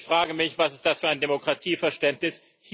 Ich frage mich Was ist das für ein Demokratieverständnis?